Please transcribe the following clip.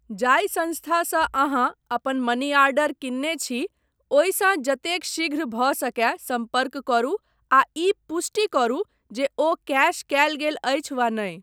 जाहि सँस्थासँ अहाँ अपन मनीआर्डर किनने छी ओहिसँ जतेक शीघ्र भऽ सकय सम्पर्क करू आ ई पुष्टि करू जे ओ कैश कयल गेल अछि वा नहि।